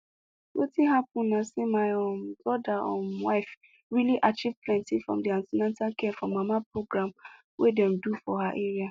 wetin happen na say my um brother um wife really achieve plenty from the an ten atal care for mama program wey dem do for her area